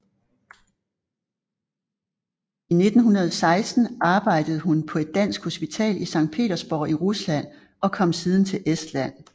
I 1916 arbejdede hun på et dansk hospital i Sankt Petersborg i Rusland og kom siden til Estland